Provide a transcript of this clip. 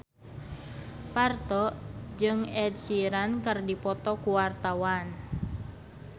Parto jeung Ed Sheeran keur dipoto ku wartawan